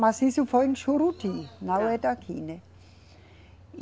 Mas isso foi em Juruti, não é daqui, né? E